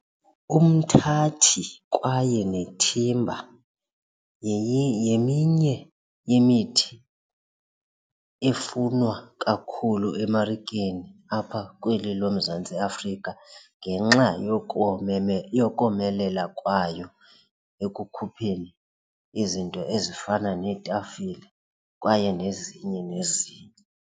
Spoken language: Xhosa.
Umthathi kwaye nethimba yeminye imithi efunwa kakhulu emarikeni apha kweli loMzantsi Afrika ngenxa yokomelela kwayo ekukhupheni izinto ezifana neetafile kwaye nezinye nezinye.